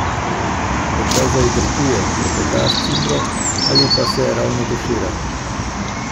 Morda zajtrkuje, klepeta s cimro ali pa se ravno tušira.